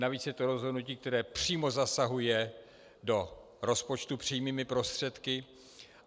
Navíc je to rozhodnutí, které přímo zasahuje do rozpočtu přímým prostředky.